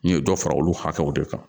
N ye dɔ fara olu hakɛw de kan